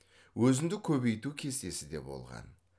өзіндік көбейту кестесі де болған